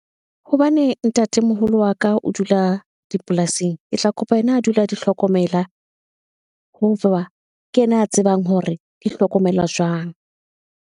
Hobane ntatemoholo wa ka o dula dipolasing. Ke tla kopa yena a dula di hlokomela, ho ke yena a tsebang hore di hlokomelwa jwang.